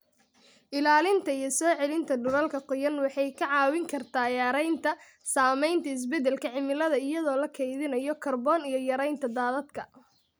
Ilaalinta iyo soo celinta dhulalka qoyan waxay kaa caawin kartaa yaraynta saamaynta isbeddelka cimilada iyadoo la kaydinayo kaarboon iyo yaraynta daadadka.